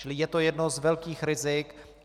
Čili je to jedno z velkých rizik.